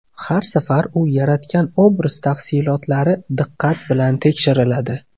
Har safar u yaratgan obraz tafsilotlari diqqat bilan tekshiriladi.